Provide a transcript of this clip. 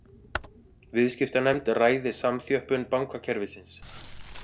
Viðskiptanefnd ræði samþjöppun bankakerfisins